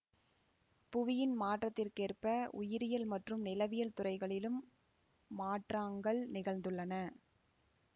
புவியின் மாற்றத்திற்கேற்ப உயிரியல் மற்றும் நிலவியல் துறைகளிலும் மாற்றாங்கள் நிகழ்ந்துள்ளன